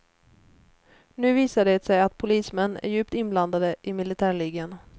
Nu visar det sig att polismän är djupt inblandade i militärligan.